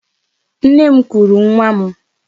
Nne m kuuru nwa m.